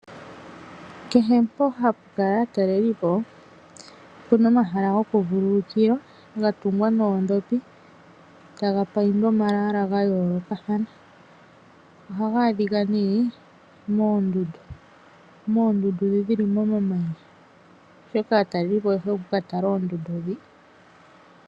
Kehe mpoka hapu kala aatalelipo opu na omahala gokuvululukilwa ga tungwa noondhopi e taga paindwa omalwaala ga yoolokathana. Ohaga adhika nduno moondundu ndhoka dhi li momamanya, oshoka aatalelipo oye hole oku ka tala oondundu ndhika.